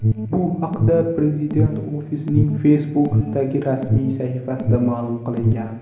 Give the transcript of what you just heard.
Bu haqda Prezident ofisining Facebook’dagi rasmiy sahifasida ma’lum qilingan .